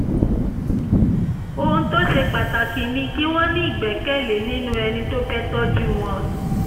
ohun tó ṣe pàtàkì ni kí wọ́n ní ìgbẹ́kẹ̀lé nínú ẹni tó fẹ́ tọ́jú wọn